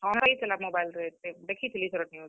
ଦେଖିଥିଲି ଇଥର news ।